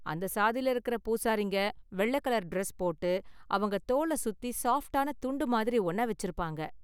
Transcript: அந்த சாதியில இருக்குற பூசாரிங்க வெள்ளை கலர் டிரஸ் போட்டு, அவங்க தோள சுத்தி சாஃப்ட்டான துண்டு மாதிரி ஒன்ன வெச்சிருப்பாங்க.